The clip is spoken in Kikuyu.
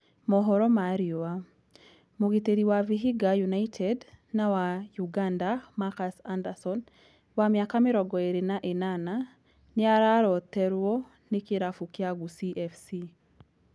(Mohoro ma Riũa) Mũgiteri wa Vihiga United na wa Ũganda, Marcus Anderson, wa mĩaka mĩrongo ĩĩrĩ na ĩnana, nĩ araroteruo ni kĩlafu kĩa Gusii FC.